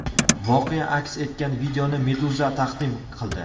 Voqea aks etgan videoni Meduza taqdim qildi .